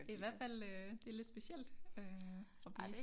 Det i hvert fald øh det lidt specielt øh og blive